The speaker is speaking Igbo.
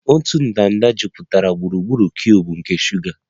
Otu ndanda jupụtara gburugburu cuubu nke shuga